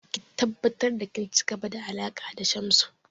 Ki tabbatar da kin ci gaba da alaƙa da Shamsu!